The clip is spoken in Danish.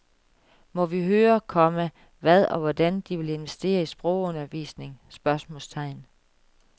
Må vi høre, komma hvad og hvordan de vil investere i sprogundervisning? spørgsmålstegn